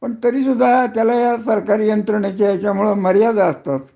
तरी सुद्धा त्याला ह्या सरकारी यंत्रणाच्या मर्यादा असतात